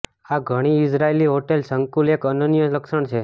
આ ઘણી Israeli hotel સંકુલ એક અનન્ય લક્ષણ છે